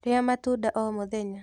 Rĩa matunda o mũthenya.